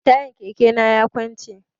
Tayan keke na ya kunce.